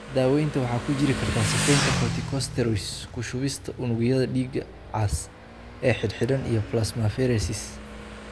Daawaynta waxa ku jiri kara sifaynta, corticosteroids, ku shubista unugyada dhiiga cas ee xidhxidhan iyo plasmapheresis.